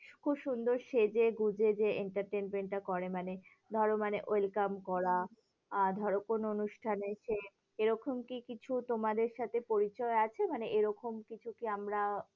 খুব সুন্দর সেজে গুঁজে entertainment টা করে। মানে ধরো মানে welcome করা, আ ধরো কোনো অনুষ্ঠানে সে, এরকম কি কিছু তোমাদের সাথে পরিচয় আছে? মানে এরকম কিছু কি আমরা